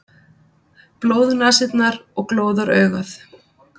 Blóðnasirnar og glóðaraugað.